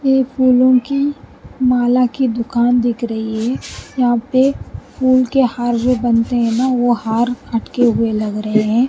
ये फूलों माला की दुकान दिख रही है यहाँ पे फूल के हार जो बनते हैं ना वो हार अटके हुए लग रहे हैं।